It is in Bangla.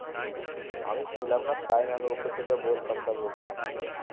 আমি ছিলাম না তাই নাহলে ওকে তো যা বলতাম তা বলতাম